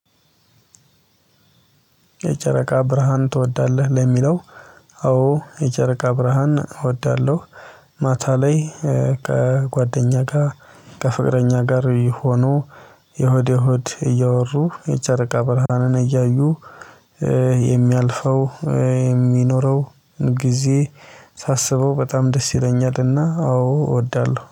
የጨረቃ ብርሃን ትወዳለህ ለሚለው? አዎ የጨረቃ ብርሃን እወዳለሁ። ማታ ላይ ከጓደኛ ጋር ከፍቅረኛ ጋር ሆኖ የሆድ የሆድ እያወሩ የጨረቃ ብርሃንን እያዩ። የሚያልፈው የሚኖረው ጊዜ ሳስበው በጣም ደስ ይለኛልና አዎ እወዳለሁ